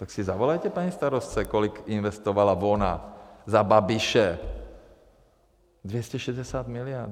Tak si zavolejte paní starostce, kolik investovala ona za Babiše - 260 milionů.